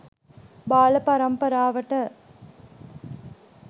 බාල පරම්පරාවට